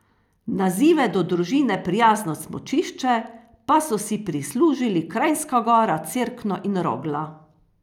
Nazive do družine prijazno smučišče pa so si prislužili Kranjska Gora, Cerkno in Rogla.